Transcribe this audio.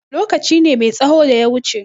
Lokaci ne mai tsaho da ya wuce.